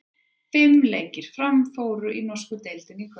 Fimm leikir fóru fram í norsku deildinni í kvöld.